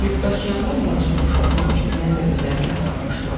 Yükdaşıyanlar barjı boşaltmaq üçün məni də özləri ilə aparmışdılar.